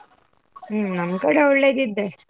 ಹೂಂ ನಮ್ಕಡೆ ಒಳ್ಳೆದಿದೆ.